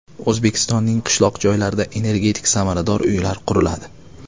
O‘zbekistonning qishloq joylarida energetik samarador uylar quriladi.